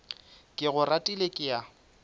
ke go ratile ke a